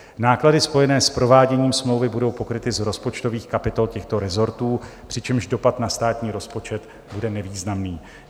Náklady spojené s prováděním smlouvy budou pokryty z rozpočtových kapitol těchto rezortů, přičemž dopad na státní rozpočet bude nevýznamný.